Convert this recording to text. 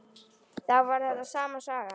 Þá var þetta sama sagan.